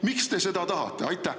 Miks te seda tahate?